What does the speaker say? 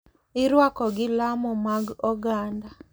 Irwako gi lamo mag oganda,